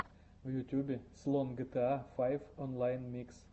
в ютюбе слон гта файв онлайн микс